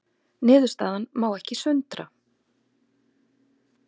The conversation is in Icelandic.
Niðurstaðan má ekki sundra